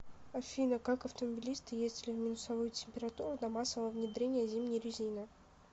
афина как автомобилисты ездили в минусовую температуру до массового внедрения зимней резины